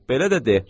Belə də de,